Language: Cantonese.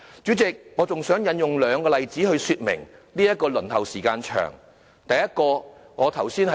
主席，我還想以兩個例子來說明輪候時間長的問題。